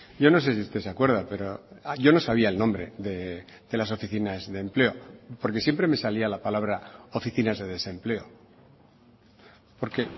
yo no sé si usted se acuerda pero yo no sabía el nombre de las oficinas de empleo porque siempre me salía la palabra oficinas de desempleo porque